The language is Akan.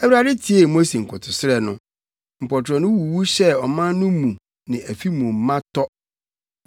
Awurade tiee Mose nkotosrɛ no. Mpɔtorɔ wuwu hyɛɛ ɔman no mu ne afi mu ma tɔ.